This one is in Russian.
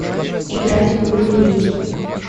играть в игру реки